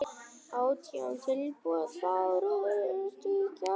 Átján tilboð bárust í gær.